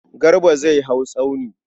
Garba zai hau tsauni.